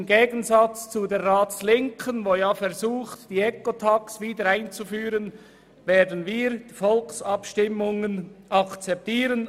Im Gegensatz zur Ratslinken, die versucht, die Ecotax wieder einzuführen, werden wir Volksabstimmungen akzeptieren.